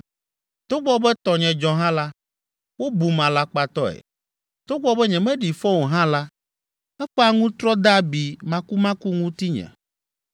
Togbɔ be tɔnye dzɔ hã la, wobum alakpatɔe, togbɔ be nyemeɖi fɔ o hã la, eƒe aŋutrɔ de abi makumaku ŋutinye’